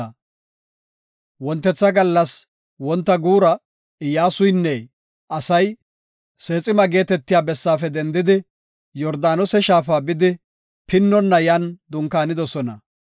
Wontetha gallas, wonta guura Iyyasuynne asay Seexima geetetiya bessaafe dendidi, Yordaanose shaafa bidi, pinnonna yan dunkaanidosona.